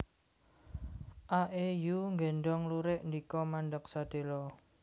A É Yu nggéndhong lurik ndika mandheg sedhéla